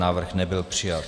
Návrh nebyl přijat.